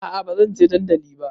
A'a bazan je dandali ba